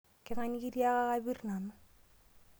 Keng'ae nikitiaka kapirr nanu?